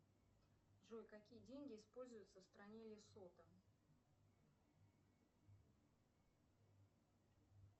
джой какие деньги используются в стране лесото